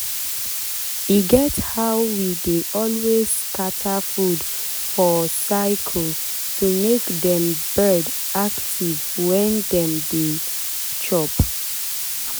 e get how we dey always scatter food for for circle to make dem bird active when dem dey chop.